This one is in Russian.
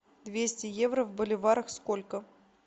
двести евро в боливарах сколько